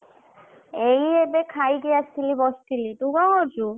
ଏଇ ଏବେ ଖାଇକିରୀ ଆସିକି ବସଥିଲି ତୁ କଣ କରୁଛୁ?